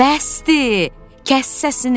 Bəsdir, kəs səsini!